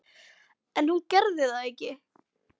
En hún gerði það ekki.